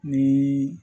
Ni